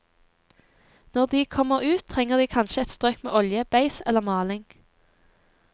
Når de kommer ut, trenger de kanskje et strøk med olje, beis eller maling.